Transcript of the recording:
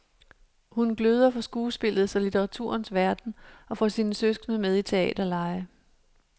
Hun gløder for skuespillets og litteraturens verden og får sine søskende med i teaterlege.